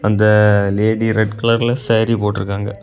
அந்த lady red கலர்ல சேரி போட்டிருக்காங்க.